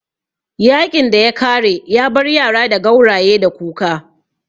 Yaƙin ya kare yabar yara da gauraye da kuka